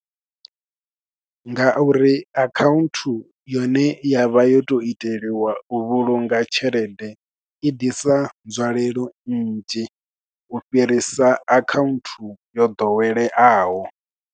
Nga uri account yone yavha yo to iteliwa u vhulunga tshelede, i ḓisa nzwalelo nnzhi, u fhirisa account yo ḓoweleaho.